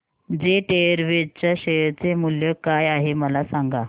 jet Airways च्या share चे मूल्य काय आहे मला सांगा